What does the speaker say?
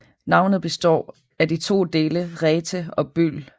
Navnet består af de to dele ræte og bøl